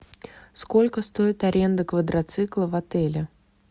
сколько стоит аренда квадроцикла в отеле